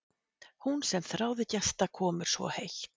Hún sem þráði gestakomur svo heitt!